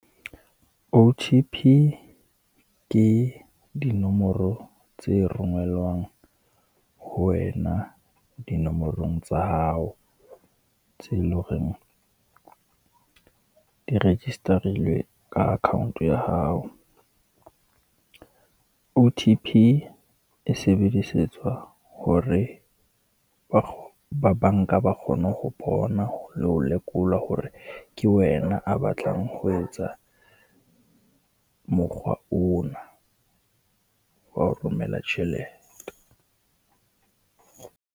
O_T_P ke dinomoro tse rongwellwang ho wena dinomorong tsa hao, tse le horeng di register-ilwe ka account ya hao. O_T_P e sebedisetswa hore ba ba banka ba kgone ho bona le ho lekola hore ke wena a batlang ho etsa mokgwa ona, wa ho romela tjhelete.